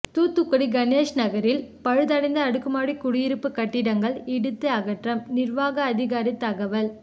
தூத்துக்குடி கணேஷ் நகரில் பழுதடைந்த அடுக்குமாடி குடியிருப்பு கட்டிடங்கள் இடித்து அகற்றம் நிர்வாக அதிகாரி தகவல்